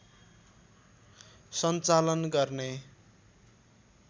सञ्चालन गर्ने